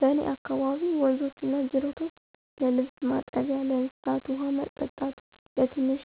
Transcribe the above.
በእኔ አካባቢ ወንዞችና ጅረቶች ለልብስ ማጠቢያ፣ ለእንስሳት ውሃ ማጠጣት፣ ለትንሽ